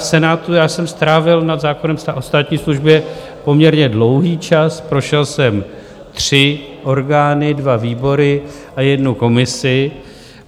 V Senátu jsem strávil nad zákonem o státní službě poměrně dlouhý čas, prošel jsem tři orgány, dva výbory a jednu komisi.